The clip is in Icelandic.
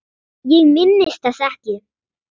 Ég minnist þess ekki.